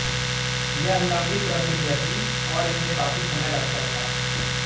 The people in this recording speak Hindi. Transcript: यह लम्बी प्रक्रिया थी और इसमें काफी समय लगता था